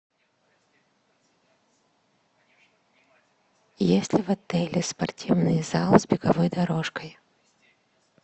есть ли в отеле спортивный зал с беговой дорожкой